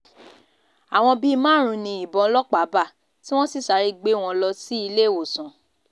àwọn bíi márùn-ún ni ìbọn ọlọ́pàá bá tí wọ́n sì sáré gbé wọn lọ síléèwòsàn